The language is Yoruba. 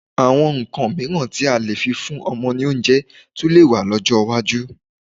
Àwọn nǹkan mìíràn tí a lè fi fún ọmọ ní oúnjẹ tún lè wà lọ́jọ́ iwájú.